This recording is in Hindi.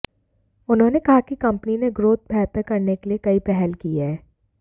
उन्होने कहा कि कंपनी ने ग्रोथ बेहतर करने के लिए कई पहल की है